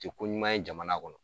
tɛ ko ɲuman ye jamana kɔnɔ.